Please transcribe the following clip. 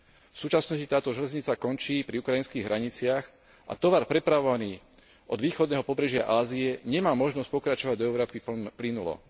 V súčasnosti táto železnica končí pri ukrajinských hraniciach a tovar prepravovaný od východného pobrežia Ázie nemá možnosť pokračovať do Európy plynulo.